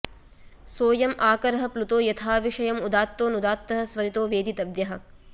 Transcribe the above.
सो ऽयम् आकरः प्लुतो यथाविषयम् उदात्तो ऽनुदात्तः स्वरितो वेदितव्यः